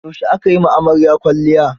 Yaushe aka yi wa amarya kwalliya.